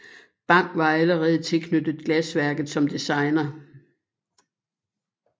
Bang var allerede tilknyttet glasværket som designer